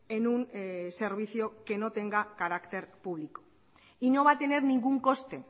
en un servicio que no tenga carácter público y no va a tener ningún coste